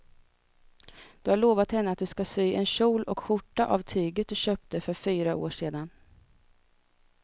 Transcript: Du har lovat henne att du ska sy en kjol och skjorta av tyget du köpte för fyra år sedan.